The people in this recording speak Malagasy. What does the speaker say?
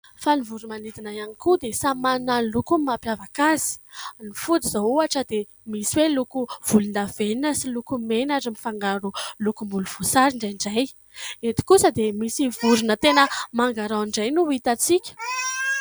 Fa ny voromanidina ihany koa dia samy manana ny lokony mampiavaka azy. Ny fody izao ohatra dia misy hoe loko volondavenona sy loko mena ary mifangaro lokom-bolovoasary indraindray. Eto kosa dia misy vorona tena mangarao indray no ho itantsika.